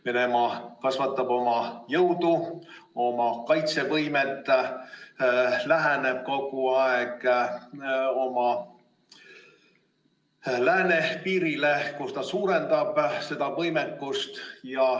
Venemaa kasvatab jõudu ja kaitsevõimet, läheneb kogu aeg oma läänepiirile, kus ta suurendab võimekust.